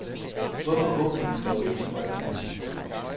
Hvorfor åbner vi dog ikke øjnene?